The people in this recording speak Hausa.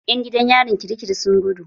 Ƴan gidan yarin kirikiri sun gudu.